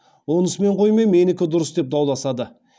онысымен қоймай менікі дұрыс деп дауласады